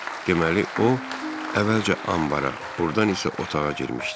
Deməli o əvvəlcə anbara, ordan isə otağa girmişdi.